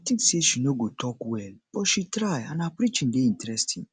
i um think say she no go talk well but she try and her preaching dey interesting